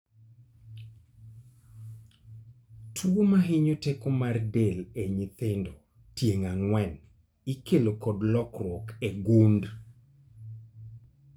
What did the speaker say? Tuo mahinyo teko mar del e nyithindo tieng' ang'wen ikelo kod lokruok e gund